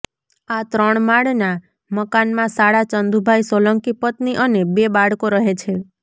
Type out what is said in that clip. આ ત્રણ માળના મકાનમાં સાળા ચંદુભાઇ સોલંકી પત્ની અને બે બાળકો રહે છે